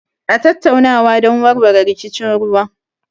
A tattaunawa don warware rikicin ruwa.